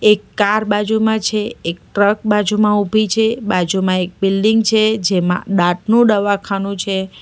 એક કાર બાજુમાં છે એક ટ્રક બાજુમાં ઉભી છે બાજુમાં એક બિલ્ડીંગ છે જેમાં દાંતનું દવાખાનું છે.